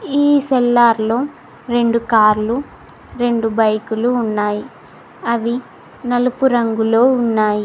ఈ సెల్లార్లో రెండు కార్లు రెండు బైకులు ఉన్నాయి అవి నలుపు రంగులో ఉన్నాయి.